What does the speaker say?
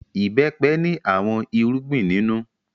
Ìbẹ́pẹ ní àwọn irúgbìn nínú.